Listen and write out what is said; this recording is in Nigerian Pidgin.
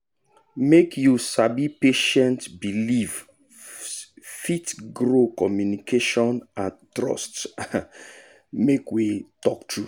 make you sabi patient beliefsfit grow communication and trust um make we talk true